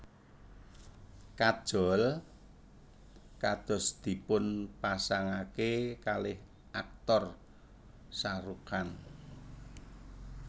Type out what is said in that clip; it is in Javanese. Kajol kados dipunpasangake kalih Aktor Shahrukh Khan